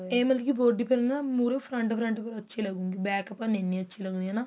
ਏਹ ਮਤਲਬ body ਪਰ ਨਾ ਮਹੁਰੇ front front ਪਰ ਅੱਛੇ ਲੱਗੂਗੀ back ਪਰ ਨਹੀਂ ਅੱਛੀ ਹੈਨਾ